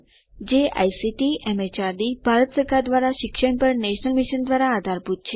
જે આઇસીટીએમએચઆરડીભારત સરકાર દ્વારા શિક્ષણ પર નેશનલ મિશન દ્વારા આધારભૂત છે